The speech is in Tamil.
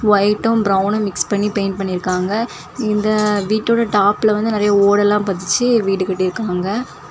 வைட்டும் பிரௌன் மிக்ஸ் பண்ணி பெயிண்ட் பண்ணிருக்காங்க இந்த அ வீட்டோட டாப்ல வந்து நறைய ஓடெல்லாம் பதிச்சு வீடு கட்டி இருக்காங்க.